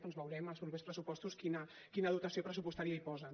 doncs veurem en els propers pressupostos quina dotació pressupostària hi posen